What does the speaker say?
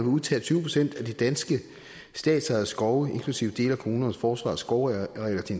udtage tyve procent af de danske statsejede skove inklusive dele af kommunernes og forsvarets skovarealer til